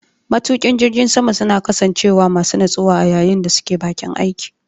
Matuƙa jirgin sama suna kasancewa masu natsuwa a yayin da suke baƙin aiki.